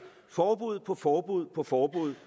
forbud på forbud på forbud